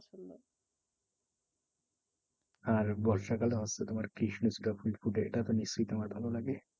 আর বর্ষা কালে হয়তো তোমার কৃষ্ণচূড়া ফুল ফুটে এটা তো নিশ্চই তোমার ভালো লাগে?